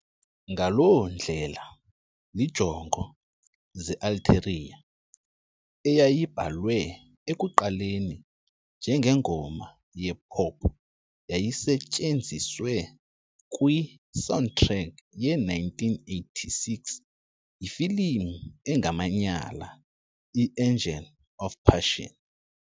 Ngaloo ndlela, "Iinjongo ze-Ulterior", eyayibhalwe ekuqaleni njengengoma ye-pop, yayisetyenziswe kwi-soundtrack ye-1986 yefilimu engamanyala "i-Angel of Passion".